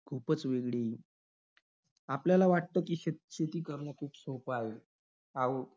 खूपच वेगळी आहे. आपल्याला वाटतं की, शे~ शेती करणं खूप सोपं आहे. अहो,